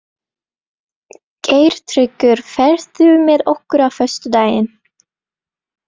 Geirtryggur, ferð þú með okkur á föstudaginn?